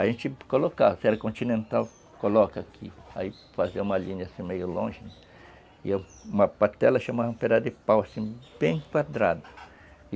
A gente colocava, se era continental colocava aqui, aí fazia uma linha assim meio longe e uma patela chamava um pedaço de pau, assim, bem quadrada.